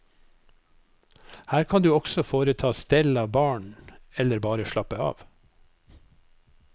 Her kan du også foreta stell av barna eller bare slappe av.